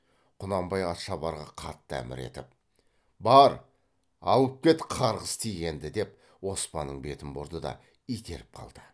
құнанбай атшабарға қатты әмір етіп бар алып кет қарғыс тигенді деп оспанның бетін бұрды да итеріп қалды